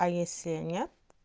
а если нет